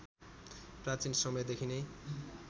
प्राचीन समयदेखि नै